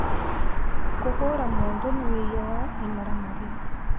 Kũhũra mũndũ nĩ wĩhĩa wa ĩmaramari